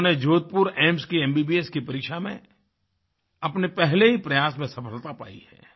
उन्होंने जोधपुर एम्स की एमबीबीएस की परीक्षा में अपने पहले ही प्रयास में सफ़लता पायी है